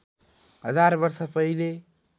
हजार वर्ष पहिले